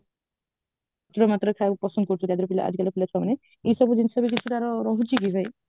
ଅଧିକ ମାତ୍ରାରେ ଖାଇବା ପସନ୍ଦ କରୁଛୁ ଆଜିକାଲି ର ପିଲା ଛୁଆ ମାନେ ଏ ସବୁ ଜିନିଷରେ କିଛି ତାର ରହୁଛି କି ଭାଇ